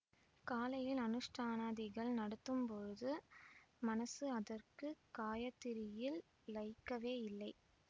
காலையில் அனுஷ்டானாதிகள் நடத்தம்போது மனசு அதற்கு காயத்திரியில் லயிக்கவே இல்லை